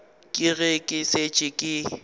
ke ge ke šetše ke